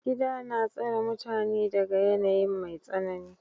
Gida na tsare mutane daga yanayin mai tsanani.